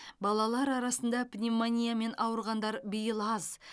балалар арасында пневмониямен ауырғандар биыл аз